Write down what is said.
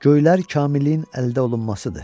Göylər kamilliyin əldə olunmasıdır.